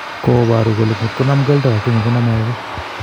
Koparu kole ngotkokonam keldo akenge koname akei